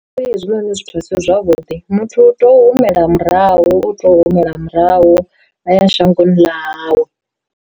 Ngauri hezwinoni zwithu a si zwavhuḓi muthu u tou humela murahu u tou humela murahu a ya shangoni ḽa hawe.